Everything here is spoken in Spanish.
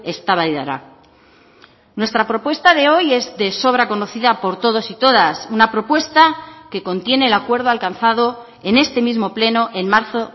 eztabaidara nuestra propuesta de hoy es de sobra conocida por todos y todas una propuesta que contiene el acuerdo alcanzado en este mismo pleno en marzo